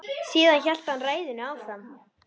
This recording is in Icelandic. Síðan hélt hann ræðunni áfram